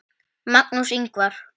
Magnús Ingvar.